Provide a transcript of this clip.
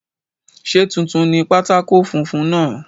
Ṣé tuntun ni pátákó funfun náà?